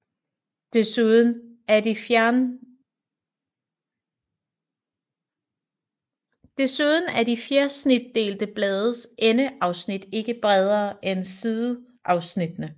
Desuden er de fjersnitdelte blades endeafsnit ikke bredere end sideafsnittene